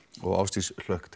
og Ásdís hlökk